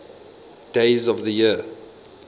days of the year